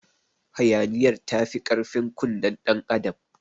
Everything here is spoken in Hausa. Hayaniyar tafi karfin kunnen ɗan adam.